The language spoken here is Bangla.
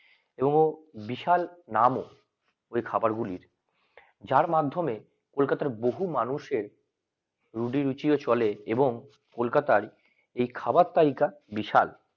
এবং বিশাল নাম ও খাবারগুলোর যার মাধ্যমে কলকাতার বহু মানুষের রুডি রুচিও চলে এবং কলকাতার এই খাবার তালিকায় বিশাল